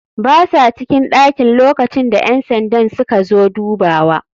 Basa cikin ɗakin lokacinda ƴansandan suka zo dubawa.